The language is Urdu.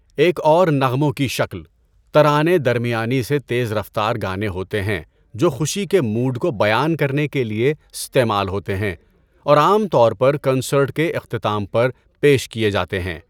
ایک اور نغموں کی شکل، ترانے درمیانی سے تیز رفتار گانے ہوتے ہیں جو خوشی کے موڈ کو بیان کرنے کے لیے استعمال ہوتے ہیں اور عام طور پر کنسرٹ کے اختتام پر پیش کیے جاتے ہیں۔